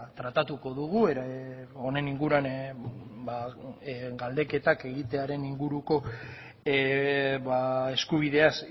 tratatuko dugu honen inguruan galdeketak egitearen inguruko eskubideaz